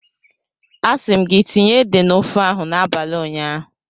A si m gi tinye ede na ofe ahu n'abali unyaahu.